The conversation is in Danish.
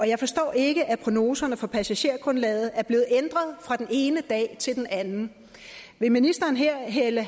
jeg forstår ikke at prognoserne for passagergrundlaget er blevet ændret fra den ene dag til den anden vil ministeren her hælde